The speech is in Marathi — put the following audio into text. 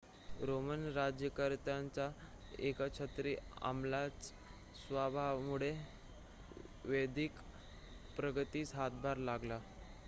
रोमन राज्यकर्त्यांच्या एकछत्री अंमलाच्या स्वभावामुळे वैद्यकीय प्रगतीस हातभार लागला